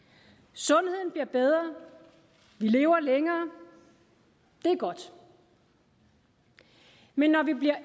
sundheden bliver bedre vi lever længere det er godt men når vi bliver